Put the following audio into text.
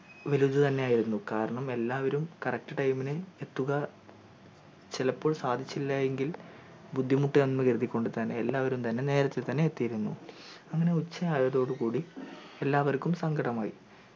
ഒരിത് തന്നെയായിരുന്നു കാരണം എല്ലാവരും correct time ന് എത്തുക ചിലപ്പോൾ സാധിച്ചില്ലയെങ്കിൽ ബുദ്ധിമുട്ടണെന്ന് കരുതി കൊണ്ട് തന്നെ എല്ലാവരും തന്നെ നേരത്തെ തന്നെ എത്തീരുന്നു അങ്ങനെ ഉച്ചയായതോടു കൂടി എല്ലാവർക്കും സങ്കടമായി